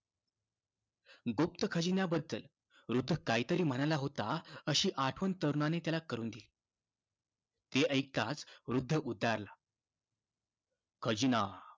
गुप्त खजिन्याबद्दल वृद्ध काहीतरी म्हणाला होता, अशी आठवण तरुणानी त्याला करून दिली. हे ऐकताच वृद्ध उच्चारला, खजिना!